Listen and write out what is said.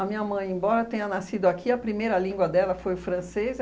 minha mãe, embora tenha nascido aqui, a primeira língua dela foi francês.